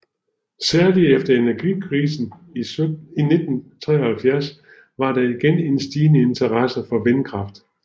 Særlig efter energikrisen i 1973 var der igen en stigende interesse for vindkraft